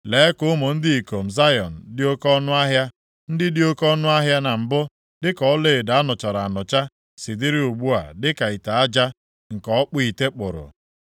Lee ka ụmụ ndị ikom Zayọn dị oke ọnụahịa, ndị dị oke ọnụahịa na mbụ dịka ọlaedo a nụchara anụcha, si dịrị ugbu a dịka ite aja nke ọkpụ ite kpụrụ.